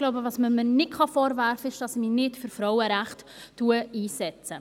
Was man mir aber, so glaube ich, nicht vorwerfen kann ist, dass ich mich nicht für Frauenrechte einsetze.